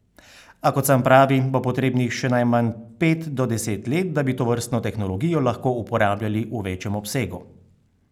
A, kot sam pravi, bo potrebnih še najmanj pet do deset let, da bi tovrstno tehnologijo lahko uporabljali v večjem obsegu.